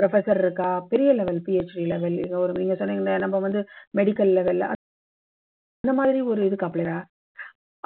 professor ருக்கா இல்லை இந்த மாதிரி ஒரு entry level லையோ நம்ப வந்து medical level ல அந்த மாதிரி ஒரு இதுக்கு